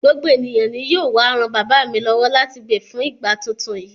Gbogbo ènìyàn yóò wá ran bàbá mi lọ́wọ́ láti gbin fún ìgbà tuntun yìí.